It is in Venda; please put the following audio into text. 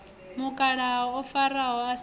mukalaha o faho a si